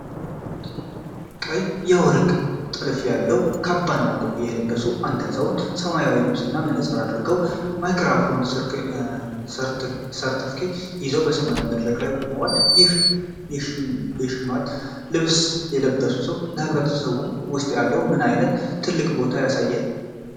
ቀይ የወርቅ ጥልፍ ያለው ካባና ኮፍያ የለበሱ አንድ አዛውንት፣ ሰማያዊ ልብስና መነጽር አድርገው ማይክሮፎንና ሰርተፍኬት ይዘው በሰማያዊ መድረክ ላይ ቆመዋል፤ ይህ ሽልማት የባህል ልብስ የለበሱት ሰው በህብረተሰቡ ውስጥ ያለውን ምን አይነት ትልቅ ቦታ ያሳያል?